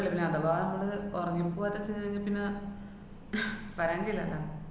വെളുപ്പിനെ അഥവാ മ്മള് ഒറങ്ങിപ്പോവാതെ ചെന്നുകയിഞ്ഞാപ്പിന്നെ പറേണ്ടിയില്ലല്ലാ.